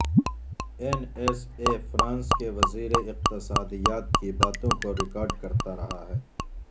N S A France کےوزیر اقتصادیات کی باتوں کو ریکارڈ کرتا رہا ہے